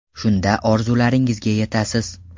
Shunda orzularingizga yetasiz.